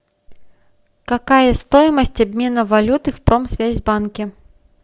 какая стоимость обмена валюты в промсвязьбанке